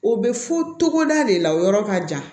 O bɛ fɔ togoda de la o yɔrɔ ka jan